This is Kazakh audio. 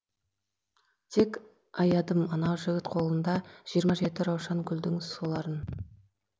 тек аядым анау жігіт қолында жиырма жеті раушан гүлдің соларын